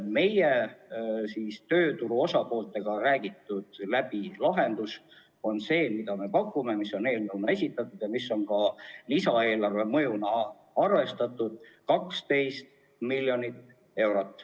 Meie lahendus, mis on tööturu osapooltega läbi räägitud, on see, mis on eelnõuna esitatud ja mida on ka lisaeelarves arvestatud 12 miljoni euro ulatuses.